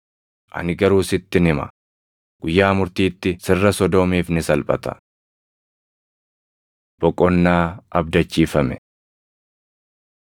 Ani garuu sittin hima; guyyaa murtiitti sirra Sodoomiif ni salphata.” Boqonnaa Abdachiifame 11:25‑27 kwf – Luq 10:21,22